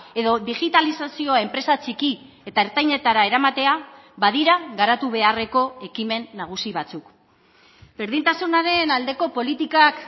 edo digitalizazioa enpresa txiki eta ertainetara eramatea badira garatu beharreko ekimen nagusi batzuk berdintasunaren aldeko politikak